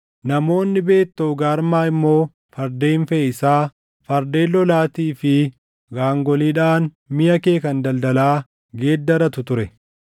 “ ‘Namoonni Beet Toogarmaa immoo fardeen feʼiisaa, fardeen lolaatii fi gaangoliidhaan miʼa kee kan daldalaa geeddaratu ture.